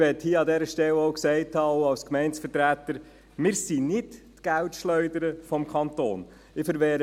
Jedoch möchte ich als Gemeindevertreter auch dazu sagen, dass wir nicht die Geldschleuder des Kantons sind.